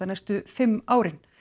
næstu fimm árin